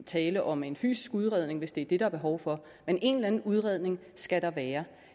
tale om en fysisk udredning hvis det er det der er behov for men en eller anden udredning skal der være